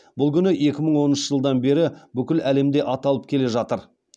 бұл күн екі мың оныншы жылдан бері бүкіл әлемде аталып келе жатыр